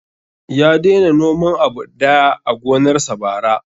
Ya daina noman abu daya a gonar sa bara